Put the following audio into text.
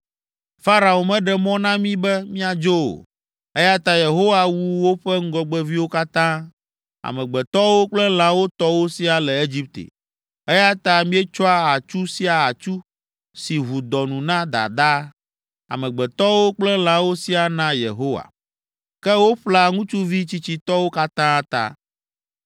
Farao meɖe mɔ na mí be míadzo o, eya ta Yehowa wu woƒe ŋgɔgbeviwo katã, amegbetɔwo kple lãwo tɔwo siaa le Egipte, eya ta míetsɔa atsu sia atsu, si ʋu dɔ nu na dadaa, amegbetɔwo kple lãwo siaa naa Yehowa. Ke woƒlea ŋutsuvi tsitsitɔwo katã ta.’